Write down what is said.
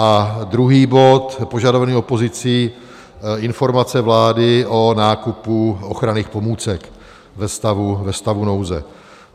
A druhý bod požadovaný opozicí - Informace vlády o nákupu ochranných pomůcek ve stavu nouze.